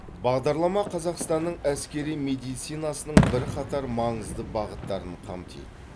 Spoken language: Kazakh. бағдарлама қазақстанның әскери медицинасының бірқатар маңызды бағыттарын қамтиды